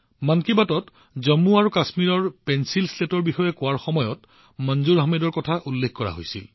মন কী বাতত জম্মু আৰু কাশ্মীৰৰ পেঞ্চিল শ্লেটৰ বিষয়ে কোৱাৰ সময়ত মনজুৰ আহমেদজীৰ কথা উল্লেখ কৰা হৈছিল